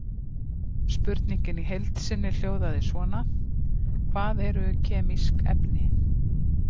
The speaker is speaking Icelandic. Spurningin í heild sinni hljóðaði svona: Hvað eru kemísk efni?